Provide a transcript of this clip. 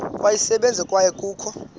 kweyesibini kwaye kukho